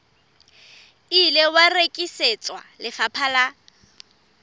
ile wa rekisetswa lefapha la